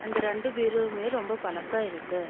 அந்த ரெண்டு பிரோவுமே ரொம்ப பழசா இருக்கு.